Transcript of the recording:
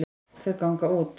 Þau ganga út.